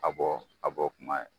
A bɔ a bɔ kuma ye